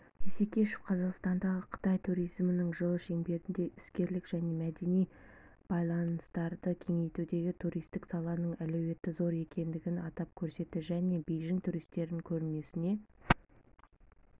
исекешев қазақстандағы қытайтуризмінің жылы шеңберінде іскерлік және мәдени байланыстарды кеңейтудегі туристік саланың әлеуеті зор екенін атап көрсетті және бейжің туристерін көрмесіне